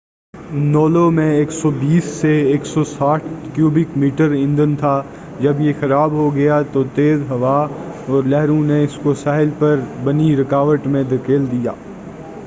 لونو میں 160-120 cubic metre ایندھن تھا جب یہ خراب ہو گیا اور تیز ہوا اور لہروں نے اس کو ساحل پر بنی روکاٹ میں دھکیل دیا